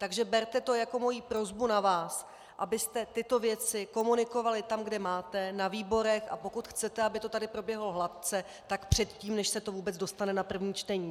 Takže berte to jako moji prosbu na vás, abyste tyto věci komunikovali tam, kde máte, na výborech, a pokud chcete, aby to tady proběhlo hladce, tak předtím, než se to vůbec dostane na první čtení.